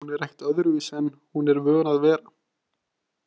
Hún er ekkert öðruvísi en hún er vön að vera